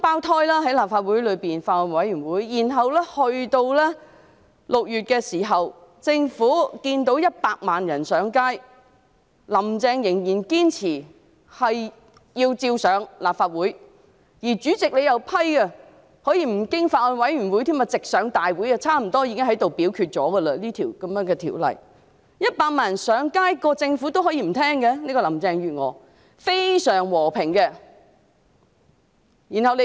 由立法會的法案委員會鬧雙胞胎起，然後政府在6月眼見100萬人上街，但"林鄭"仍然堅持把《條例草案》提交立法會，而主席又批准可以不經法案委員會審議，直接在大會上恢復二讀辯論，這項《條例草案》幾乎已經在大會上表決了。